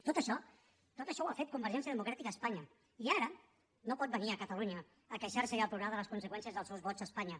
tot això tot això ho ha fet convergència democràtica a espanya i ara no pot venir a catalunya a queixar se i a plorar de les conseqüències dels seus vots a espanya